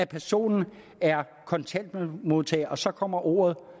personen er kontanthjælpsmodtager og så kommer ordet